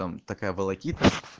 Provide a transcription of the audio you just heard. там такая волокита